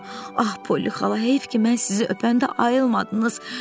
Ax Poli xala, heyf ki, mən sizi öpəndə ayılmadınız.